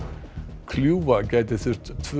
kljúfa gæti þurft tvö